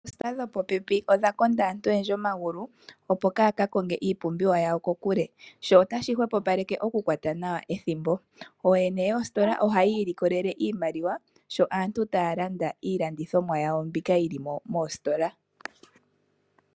Oositola dhopo pe pi odha konda aantu oyendji omagulu, opo kaaya ka konge iipumbiwa yawo kokule. Sho otashi hwepopaleke oku kwata nawa ethimbo. Ooyene yoositola ohayi ilokelele iimaliwa sho aantu taya landa iilandithomwa yawo mbika yili mo moositola.